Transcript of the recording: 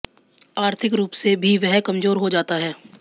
आर्थिक रूप से भी वह कमज़ोर हो जाता है